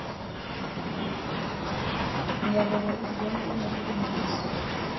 myalelo iwubona unobulungisa